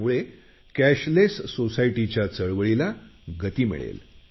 त्यामुळे कॅशलेस सोसायटीच्या चळवळीला गती मिळेल